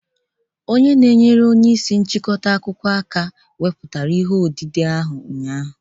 Onye nchịkọta akụkọ ihe enyemaka weputara ihe odide ahụ ụnyahụ